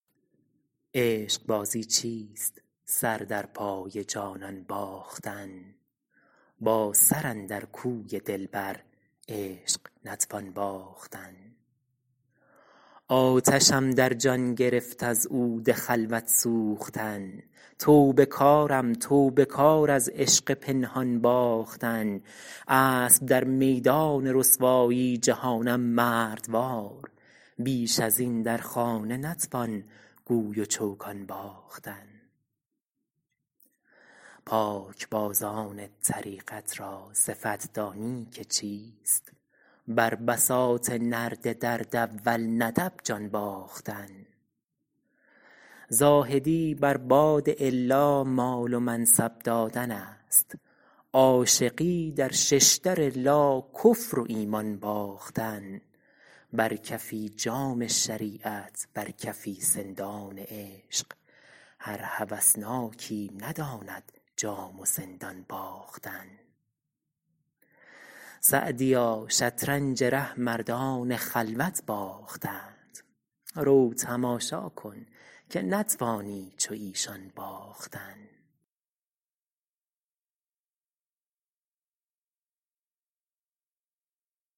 عشقبازی چیست سر در پای جانان باختن با سر اندر کوی دلبر عشق نتوان باختن آتشم در جان گرفت از عود خلوت سوختن توبه کارم توبه کار از عشق پنهان باختن اسب در میدان رسوایی جهانم مردوار بیش از این در خانه نتوان گوی و چوگان باختن پاکبازان طریقت را صفت دانی که چیست بر بساط نرد درد اول ندب جان باختن زاهدی بر باد الا مال و منصب دادن است عاشقی در ششدر لا کفر و ایمان باختن بر کفی جام شریعت بر کفی سندان عشق هر هوسناکی نداند جام و سندان باختن سعدیا شطرنج ره مردان خلوت باختند رو تماشا کن که نتوانی چو ایشان باختن